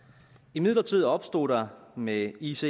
imidlertid opstod der med ices